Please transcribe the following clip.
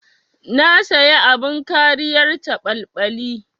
Na saya abin kariyar caɓalɓali.